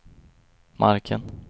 marken